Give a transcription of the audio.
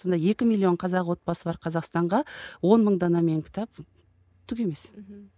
сонда екі миллион қазақ отбасы бар қазақстанға он мың данамен кітап түк емес мхм